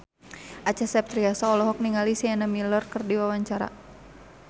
Acha Septriasa olohok ningali Sienna Miller keur diwawancara